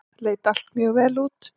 Leit allt mjög vel út.